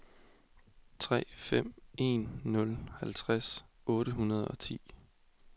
tre fem en nul halvtreds otte hundrede og ti